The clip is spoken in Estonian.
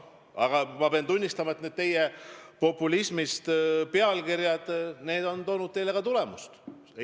Samas ma pean tunnistama, et need teie populistlikud pealkirjad on teile ka tulemusi toonud.